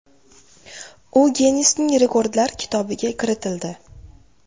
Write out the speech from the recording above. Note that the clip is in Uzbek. U Ginnesning Rekordlar kitobiga kiritildi.